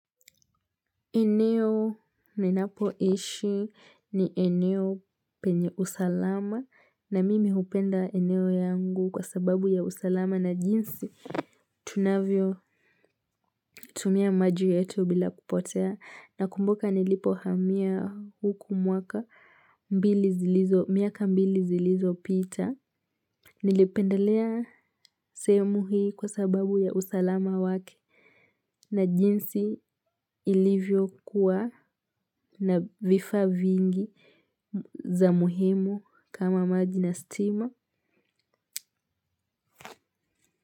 Eneo ninapo ishi ni eneo penye usalama na mimi hupenda eneo yangu kwa sababu ya usalama na jinsi tunavyo tumia maji yetu bila kupotea nakumbuka nilipo hamia huku mwaka miaka mbili zilizo pita. Nilipendelea sehemu hii kwa sababu ya usalama wake na jinsi ilivyo kuwa na vifaa vingi za muhimu kama maji na stima.